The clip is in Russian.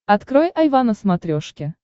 открой айва на смотрешке